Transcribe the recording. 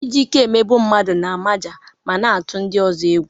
Iji ike emegbu mmadụ na-amaja ma na-atụ ndị ọzọ egwu.